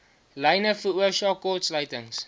lyne veroorsaak kortsluitings